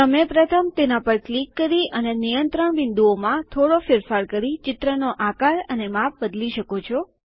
તમે પ્રથમ તેના પર ક્લિક કરી અને નિયંત્રણ બિંદુઓમાં થોડો ફેરફાર કરી ચિત્રનો આકાર અને માપ બદલી શકો છો